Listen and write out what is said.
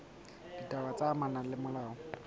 ditaba tse amanang le molao